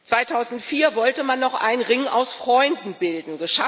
2004 wollte man noch einen Ring aus Freunden bilden.